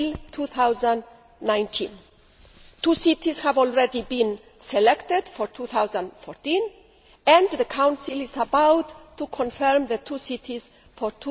Two cities have already been selected for 2014, and the Council is about to confirm the two cities